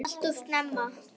Alltof snemma.